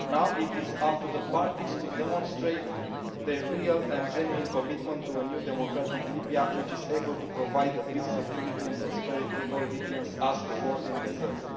Now it is up to the parties to demonstrate their real and genuine commitment to a new democratic Libya which is able to provide the peace, security and prosperity all Libyans ask for and deserve.